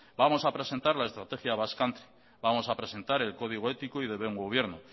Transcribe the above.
vamos a presentar la estrategia basque country vamos a presentar el código ético y de buen gobierno